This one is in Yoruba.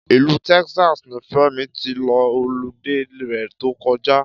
Ìlú Texas ni Fẹ́mi ti lo olidé rẹ̀ tó kọjá